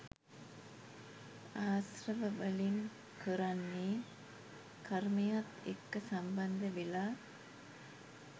ආශ්‍රව වලින් කරන්නේ කර්මයත් එක්ක සම්බන්ධ වෙලා